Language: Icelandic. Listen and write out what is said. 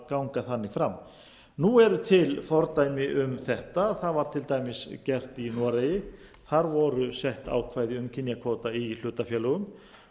ganga þannig fram nú eru til fordæmi um þetta það var til dæmis gert í noregi þar voru sett ákvæði um kynjakvóta í hlutafélögum